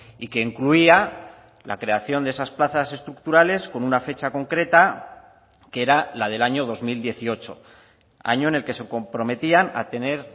y que incluía la creación de esas plazas estructurales con una fecha concreta que era la del año dos mil dieciocho año en el que se comprometían a tener